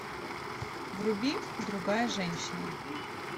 вруби другая женщина